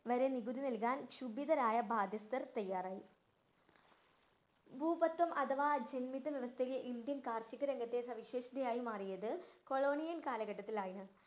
വരെ നികുതി നല്‍കാന്‍ ക്ഷുഭിതരായ ബാധ്യസ്ഥര്‍ തയ്യാറായി. ഭൂവത്തം അഥവാ ജന്മിത്ത്വവ്യവസ്ഥയെ ഇന്ത്യൻ കാര്‍ഷിക രംഗത്തെ സവിശേഷതയായി മാറിയത് കൊളോണിയന്‍ കാലഘട്ടത്തില്‍ ആയിരുന്നു.